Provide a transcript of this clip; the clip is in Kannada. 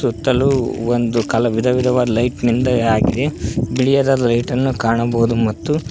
ಸುತ್ತಲು ಒಂದು ಕಲ ವಿಧವಿಧವಾದ ಲೈಟ್ ನಿಂದ ಆಗಿದೆ ತಿಳಿಯಾದ ಲೈಟನ್ನು ಕಾಣಬಹುದು ಮತ್ತು--